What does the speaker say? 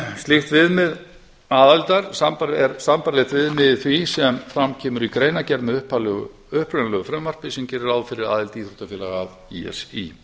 slíkt viðmið aðildar er sambærilegt viðmið því sem fram kemur í greinargerð með upprunalegu frumvarpi sem gerir ráð fyrir aðildar íþróttafélaga að í s í